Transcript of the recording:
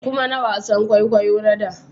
Ku mana wasan kwaikwayo na da